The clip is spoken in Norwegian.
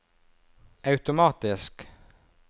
automatisk